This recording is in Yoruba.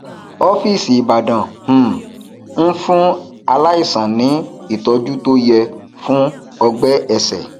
ófíìsì ibadan um ń fún aláìsàn ní ìtọjú tó yẹ fún ọgbẹ ẹsẹ